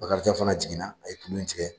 Bakarijan fana jiginna a ye tulu in tigɛ